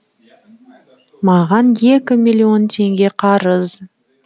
маған екі миллион теңге қарыз